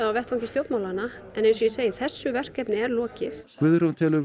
á vettvangi stjórnmálanna en eins og ég segi þessu verkefni er lokið Guðrún telur